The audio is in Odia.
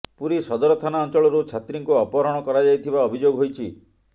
ପୁରୀ ସଦର ଥାନା ଅଞ୍ଚଳରୁ ଛାତ୍ରୀଙ୍କୁ ଅପହରଣ କରାଯାଇଥିବା ଅଭିଯୋଗ ହୋଇଛି